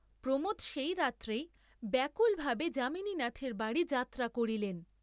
প্রমোদ সেই রাত্রেই ব্যাকুলভাবে যামিনীনাথের বাড়ী যাত্রা করিলেন।